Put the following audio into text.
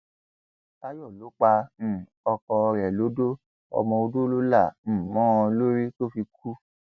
táyọlọ pa um ọkọ rẹ lọdọ ọmọ ọdọ ló là um mọ ọn lórí tó fi kú